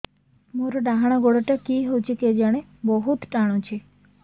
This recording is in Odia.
ମୋର୍ ଡାହାଣ୍ ଗୋଡ଼ଟା କି ହଉଚି କେଜାଣେ ବହୁତ୍ ଟାଣୁଛି